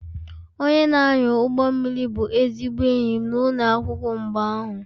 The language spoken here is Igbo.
Onye na-anya ụgbọ mmiri bụ ezigbo enyi m n'ụlọ akwụkwọ mgbe ahụ